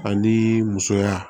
Ani musoya